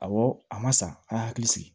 Awɔ a ma sa a ye hakili sigi